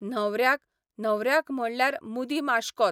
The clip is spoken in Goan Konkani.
न्हवऱ्याक, न्हवऱ्याक म्हणल्यार मुदी माशकोत